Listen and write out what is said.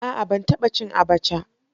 A'a ban taba cin abacha.